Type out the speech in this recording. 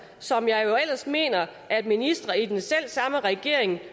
som jeg jo ellers mener at ministre i den selv samme regering